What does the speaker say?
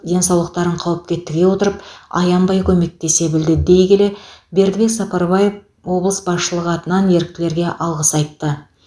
денсаулықтарын қауіпке тіге отырып аянбай көмектесе білді дей келе бердібек сапарбаев облыс басшылығы атынан еріктілерге алғыс айтты